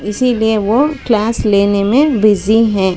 इसीलिए वो क्लास लेने में बिजी हैं।